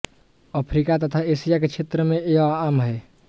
Africa तथा Asia के क्षेत्र में यह आम हैं